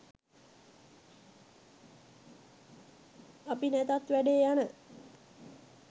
අපි නැතත් වැඩේ යන